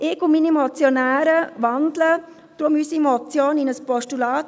Ich und meine Mitmotionäre wandeln deshalb unsere Motion in ein Postulat.